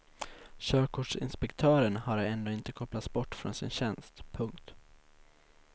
Körkortsinspektören har ännu inte kopplats bort från sin tjänst. punkt